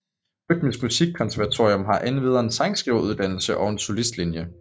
Rytmisk Musikkonservatorium har endvidere en sangskriveruddannelse og en solistlinje